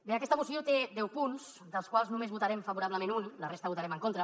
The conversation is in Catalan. bé aquesta moció té deu punts dels quals només en votarem favorablement un la resta els votarem en contra